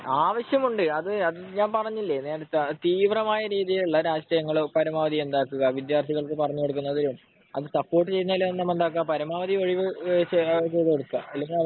ആവശ്യമുണ്ട് . ഞാൻ പറഞ്ഞില്ലേ നേരെത്തെ തീവ്രമായിട്ടുള്ള രാഷ്ട്രീയം എന്താക്കുക വിദ്യാർത്ഥികൾക്ക് പറഞ്ഞുകൊടുക്കുന്നതും സപ്പോർട്ട് ചെയ്യുന്നതും പരമാവധി ഒഴിവാക്കുക